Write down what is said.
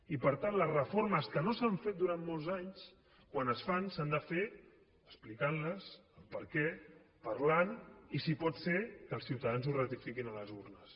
i per tant les reformes que no s’han fet durant molts anys quan es fan s’han de fer explicant les el perquè parlant i si pot ser que els ciutadans ho ratifiquin a les urnes